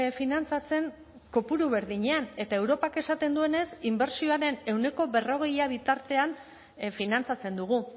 finantzatzen kopuru berdinean eta europak esaten duenez inbertsioaren ehuneko berrogei bitartean finantzatzen dugu